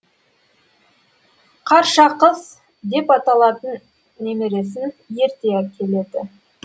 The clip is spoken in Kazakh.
қаршақыз депаталатын немересін ерте келеді